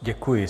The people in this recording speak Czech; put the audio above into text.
Děkuji.